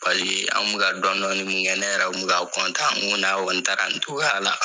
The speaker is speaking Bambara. Paseke an kun mi ka dɔnni dɔnni mun kɛ, ne yɛrɛ kun mi ka n ko n'a kɔni taara nin togoya la